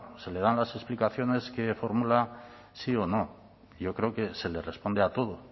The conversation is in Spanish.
se le dan las explicaciones que formula sí o no yo creo que se les responde a todo